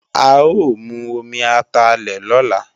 A ó mu omi atalẹ̀ lọ́la